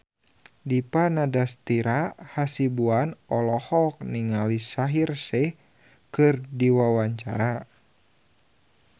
Dipa Nandastyra Hasibuan olohok ningali Shaheer Sheikh keur diwawancara